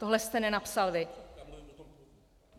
Tohle jste nenapsal vy?